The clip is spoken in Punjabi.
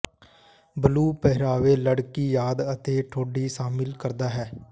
ਬਲੂ ਪਹਿਰਾਵੇ ਲੜਕੀ ਯਾਦ ਅਤੇ ਠੋਡੀ ਸ਼ਾਮਿਲ ਕਰਦਾ ਹੈ